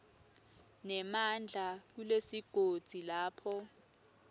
nemandla kulesigodzi lapho